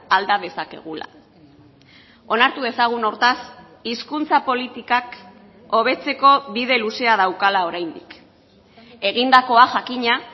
alda dezakegula onartu dezagun hortaz hizkuntza politikak hobetzeko bide luzea daukala oraindik egindakoa jakina